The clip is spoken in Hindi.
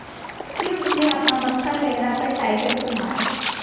फिर उसने अपना बक्सा लहरा कर टाइगर को मारा